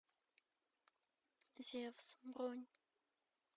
зевс бронь